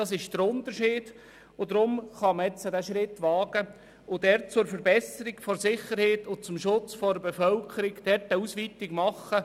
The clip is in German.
Deshalb kann man diesen Schritt wagen und zur Verbesserung der Sicherheit und zum Schutz der Bevölkerung eine Ausweitung machen.